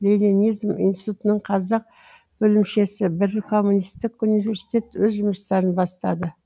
ленинизм институтының қазақ бөлімшесі бір коммунистік университет өз жұмыстарын бастады